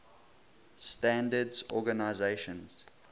standards organizations